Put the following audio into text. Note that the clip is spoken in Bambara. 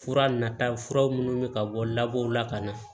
Fura nata fura munnu bi ka bɔ labɔw la ka na